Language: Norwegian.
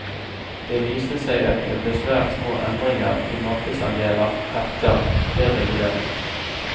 Det viste seg at det ble svært små endringer i markedsandeler etter dereguleringen.